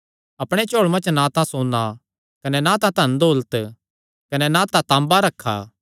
अपणेयां झोल़ुयां च ना तां सोन्ना कने ना तां धन दौलत कने ना तां तांबा रखा